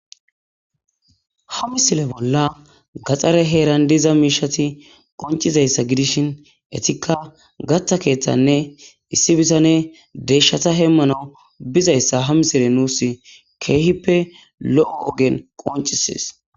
Ha misile bolla gaxare heeran diza miishati qoncizayssa gidishin etikka gatta keeththanne issi bisane deeshshata hemmana bizayssa ha misile nuus keehippe lo'o ogen qoncisees